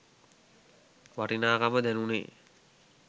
වටිනාකම දැනුනේ.